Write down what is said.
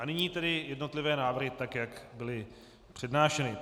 A nyní tedy jednotlivé návrhy, tak jak byly přednášeny.